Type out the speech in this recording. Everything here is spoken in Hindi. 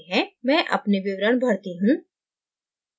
मैं अपने विवरण भरता हूँ